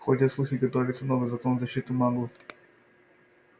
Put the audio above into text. ходят слухи готовится новый закон в защиту маглов